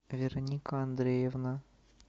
вероника андреевна